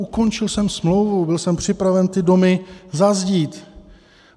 Ukončil jsem smlouvu, byl jsem připraven ty domy zazdít.